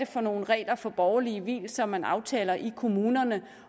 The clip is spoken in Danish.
for nogle regler for borgerlige vielser man aftaler i kommunerne